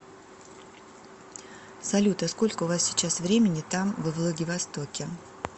салют а сколько у вас сейчас времени там во владивостоке